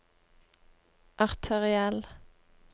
arteriell